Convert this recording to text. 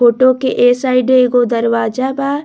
Photo के ए side एगो दरवाजा बा।